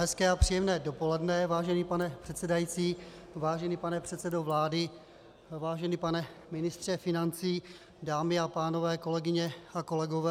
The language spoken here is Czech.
Hezké a příjemné dopoledne, vážený pane předsedající, vážený pane předsedo vlády, vážený pane ministře financí, dámy a pánové, kolegyně a kolegové.